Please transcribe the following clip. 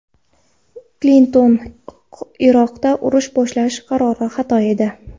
Klinton: Iroqda urush boshlash qarori xato edi.